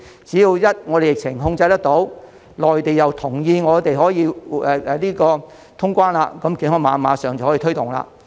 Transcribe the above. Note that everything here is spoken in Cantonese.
只要我們的疫情一旦受控，內地又同意我們可以通關，便可以馬上推動健康碼。